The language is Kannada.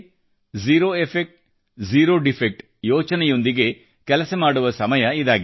ಜೆರೊ ಎಫೆಕ್ಟ್ ಜೆರೊ ಡಿಫೆಕ್ಟ್ ಯೋಚನೆಯೊಂದಿಗೆ ಕೆಲಸ ಮಾಡುವ ಸಮಯ ಇದಾಗಿದೆ